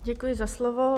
Děkuji za slovo.